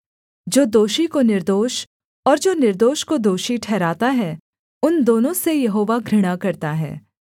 जो दोषी को निर्दोष और जो निर्दोष को दोषी ठहराता है उन दोनों से यहोवा घृणा करता है